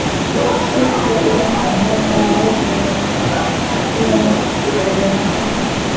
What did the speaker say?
Sighvatur Jónsson: Þannig að áætlanir um nýjan Landspítala munu standast?